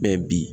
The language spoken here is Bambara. Mɛ bi